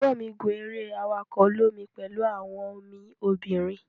egbon mi gun ere awako olomi pelu awon mi obinrin.